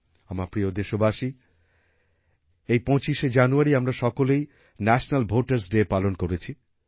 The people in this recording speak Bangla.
আমার প্রিয় দেশবাসী এই ২৫শে জানুয়ারি আমরা সকলেই ন্যাশনাল ভোটারস ডে পালন করেছি